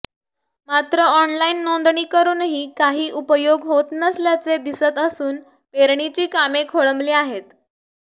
मात्र ऑनलाईन नोंदणी करूनही काही उपयोग होत नसल्याचे दिसत असून पेरणीची कामे खोळंबली आहे